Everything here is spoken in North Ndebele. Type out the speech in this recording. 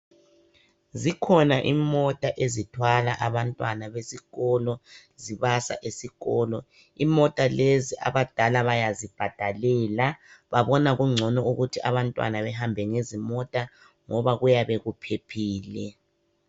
Zikhona imota ezithwala abantwana besikolo zibasa esikolo. Imota lezi abadala bayazibhadalela .Babona kungcono ukuthi abantwana bahambe ngezimota ngoba kuyabe kuphephile.